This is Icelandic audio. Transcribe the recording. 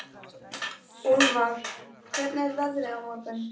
Úlfar, hvernig er veðrið á morgun?